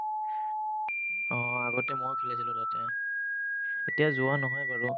অ, আগতে ময়ো খেলিছিলো তাতে এতিয়া যোৱা নহয় বাৰু